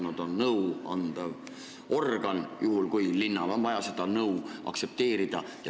Nad on nõuandev organ, juhul kui linnal on seda nõu vaja.